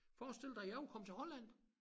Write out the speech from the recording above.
Forestil dig jeg kunne komme til Holland